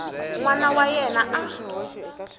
n wana wa yena a